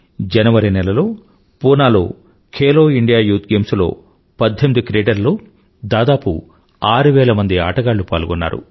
జనవరి నెలలో పూనాలో Khelo India youth games లో 18 క్రీడల్లో దాదాపు 6000మంది ఆటగాళ్ళు పాల్గొన్నారు